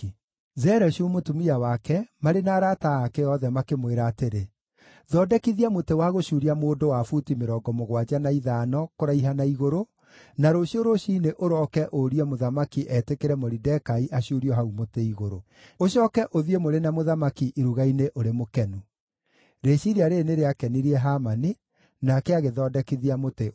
Zereshu mũtumia wake marĩ na arata ake othe makĩmwĩra atĩrĩ, “Thondekithia mũtĩ wa gũcuuria mũndũ wa buti mĩrongo mũgwanja na ithano kũraiha na igũrũ, na rũciũ rũciinĩ ũrooke ũrie mũthamaki etĩkĩre Moridekai acuurio hau mũtĩ-igũrũ. Ũcooke ũthiĩ mũrĩ na mũthamaki iruga-inĩ ũrĩ mũkenu.” Rĩciiria rĩĩrĩ nĩrĩakenirie Hamani, nake agĩthondekithia mũtĩ ũcio.